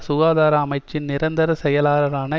சுகாதார அமைச்சின் நிரந்தர செயலாளரான